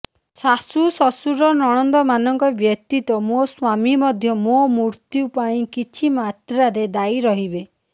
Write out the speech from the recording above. ଶାଶୂ ଶଶୁର ନଣନ୍ଦମାନଙ୍କ ବ୍ୟତୀତ ମୋ ସ୍ୱାମୀ ମଧ୍ୟ ମୋ ମୃତ୍ୟୁ ପାଇଁ କିଛି ମାତ୍ରାରେ ଦାୟୀ ରହିବେ